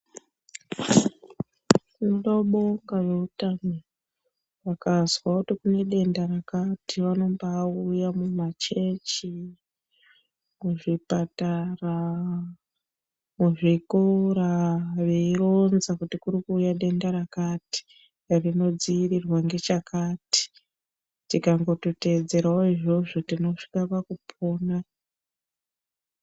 Kundo bonga ve utano vakazwa kuti kune denda rakati vanombai uya mu machechi ku zvipatara ku zvikora vei ronza kuti kuri kuuya denda rakati rino dzivirirwe ne chakati tikatongo teedzerawo izvozvo tinosvika paku pona.